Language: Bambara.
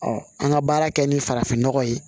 an ka baara kɛ ni farafinnɔgɔ ye